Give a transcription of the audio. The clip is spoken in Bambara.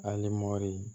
Ali mɔdi